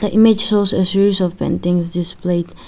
image shows a series of paintings displayed.